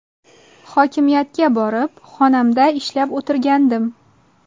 Hokimiyatga borib, xonamda ishlab o‘tirgandim.